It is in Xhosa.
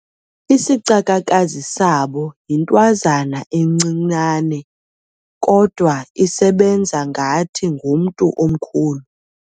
Isicakakazi sabo yintwazana encinane kodwa isebenza ngathi ngumntu omkhulu.